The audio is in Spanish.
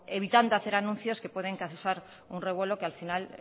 evitando hacer anuncios que pueden causar un revuelo que al final